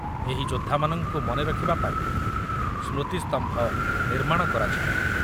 ଏହି ଯୋଦ୍ଧାମାନଙ୍କୁ ମନେ ରଖିବା ପାଇଁ ସ୍ମୃତିସ୍ତମ୍ଭ ନିର୍ମାଣ କରାଯିବ ।